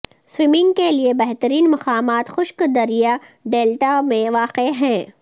swimming کے لئے بہترین مقامات خشک دریا ڈیلٹا میں واقع ہیں